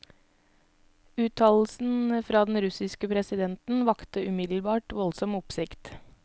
Uttalelsen fra den russiske presidenten vakte umiddelbart voldsom oppsikt.